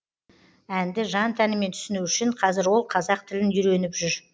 әнді жан тәнімен түсіну үшін қазір ол қазақ тілін үйреніп жүр